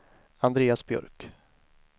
Andreas Björk